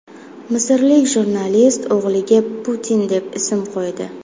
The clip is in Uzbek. Misrlik jurnalist o‘g‘liga Putin deb ism qo‘ydi .